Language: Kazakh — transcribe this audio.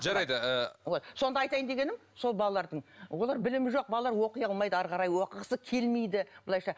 жарайды ыыы вот сонда айтайын дегенім сол балалардың олар білімі жоқ балалар оқи алмайды әрі қарай оқығысы келмейді былайша